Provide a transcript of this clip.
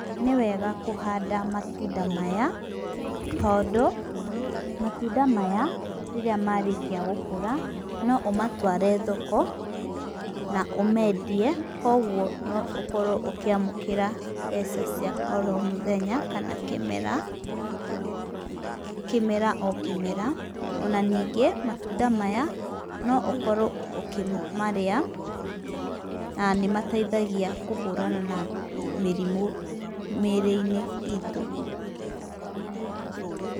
Nĩwega kũhanda matunda maya, tondũ, matunda maya rĩrĩa marĩkia gũkũra, no ũmatware thoko na ũmeendie. Koguo, no ũkorwo ũkĩamũkĩra mbeca cia oro mũthenya kana kĩmera, kĩmera o kĩmera. O na ningĩ matunda maya, no ũkorwo ũkĩmarĩa, na nĩ mateithagia kũhũrana na mĩrimũ mĩrĩ-inĩ itũ.